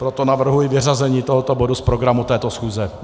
Proto navrhuji vyřazení tohoto bodu z programu této schůze.